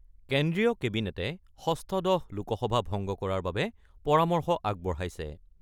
কেন্দ্ৰীয় কেবিনেটে ষষ্ঠদশ লোকসভা ভংগ কৰাৰ বাবে পৰামৰ্শ আগবঢ়াইছে।